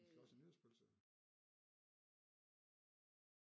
Vi skal også have nytårspølse